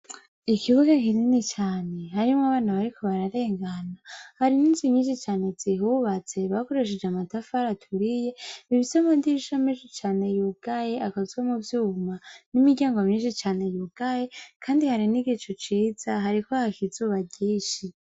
Ikibuga kinini cane harimwo abana bariko bararengana, hari n'inzu nyinshi cane zihubatse bakoresheje amatafari aturiye, ifise amadirisha menshi cane yugaye akozwe mu vyuma, n'imiryango myinshi cane yugaye kandi hari n'igicu ciza hariko haka izuba ryinshi.